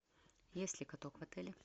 есть ли каток в отеле